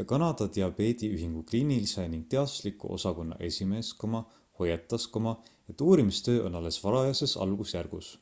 ja kanada diabeediühingu kliinilise ning teadusliku osakonna esimees hoiatas et uurimustöö on alles varajases algusjärgus